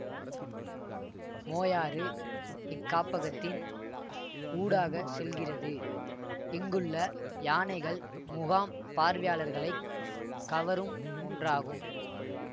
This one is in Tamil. மோயாறு இக்காப்பகத்தின் ஊடாக செல்லுகிறது இங்குள்ள யானைகள் முகாம் பார்வையாளர்களை கவரும் ஒன்றாகும்